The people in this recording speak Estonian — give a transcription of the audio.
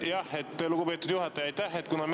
Jah, lugupeetud juhataja, aitäh!